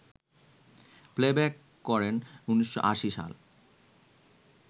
playback করেন ১৯৮০ সালে